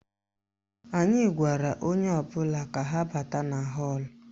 Anyị gwara onye ọbụla ka ha bata na họ́ọ̀lụ̀